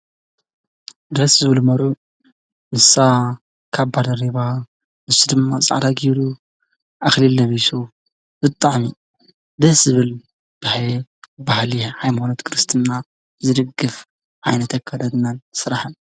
ደስ ዝብል መሩዕ ንሳ ካብ ባደሪባ ንሱ ድማ ፃዕደ ጊሩ ኣኽሊል ነቢሱ ዘጥዕሚ ደስ ዝብል ብይ ባህል ኣይሞኖት ክርስትና ዝድግፍ ኣይነተኣከለትናን ሥራሕን እዩ።